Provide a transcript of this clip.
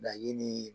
Laɲini